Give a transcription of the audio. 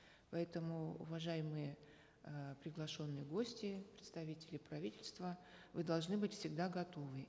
поэтому уважаемые э приглашенные гости представители правительства вы должны быть всегда готовы